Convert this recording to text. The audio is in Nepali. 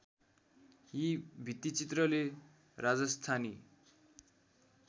यी भित्तिचित्रले राजस्‍थानी